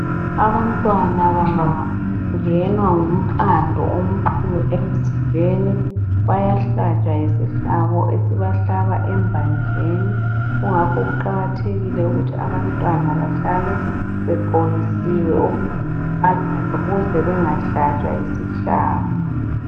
Abantwana bangangenwa ngumqando omkhulu emzimbeni, bayahlatshwa yisihlabo esibahlaba embanjeni. Kungakho kuqakathekile ukuthi abantwana bahlale begqokisiwe okugudumalayo ukuze bengahlatshwa yisihlabo.